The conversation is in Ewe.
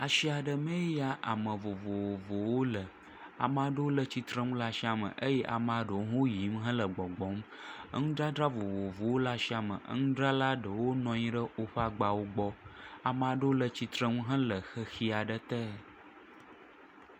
Asia ɖe mee ya ame vovovowo le. Ame aɖewo le tsitre nu. Amewo le asiame eye amea ɖewo le yiym le gbɔgbɔ. Enu dzadza vovovowo le asiame. Enudzrala ɖewo nɔ anyi ɖe woƒe agbawo gbɔ. Ame aɖewo le tsitre nu hele xexi aɖe te.